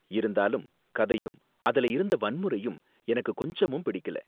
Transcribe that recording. இருந்தாலும், கதையும் அதுல இருந்த வன்முறையும் எனக்கு கொஞ்சமும் பிடிக்கல.